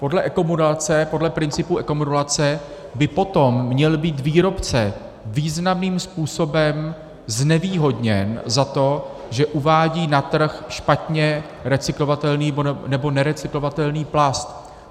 Podle ekomodulace, podle principu ekomodulace by potom měl být výrobce významným způsobem znevýhodněn za to, že uvádí na trh špatně recyklovatelný nebo nerecyklovatelný plast.